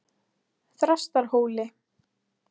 Þrastarhóli